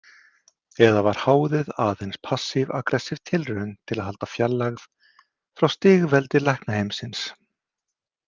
Eða var háðið aðeins passívaggressív tilraun til að halda fjarlægð frá stigveldi læknaheimsins?